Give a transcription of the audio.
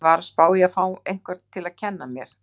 Ég var að spá í að fá einhvern til að kenna mér.